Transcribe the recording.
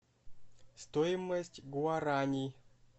стоимость гуарани